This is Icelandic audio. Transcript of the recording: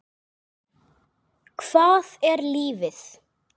Hvað er lífið?